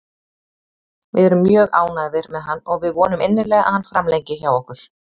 Við erum mjög ánægðir með hann og við vonum innilega að hann framlengi hjá okkur.